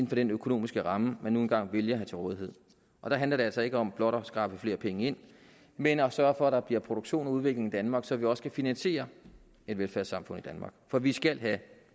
den økonomiske ramme man nu engang vælger at have til rådighed og der handler det altså ikke om blot at skrabe flere penge ind men at sørge for at der bliver produktion og udvikling i danmark så vi også kan finansiere et velfærdssamfund i danmark for vi skal have